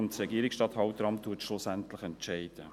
Das Regierungsstatthalteramt entscheidet am Schluss.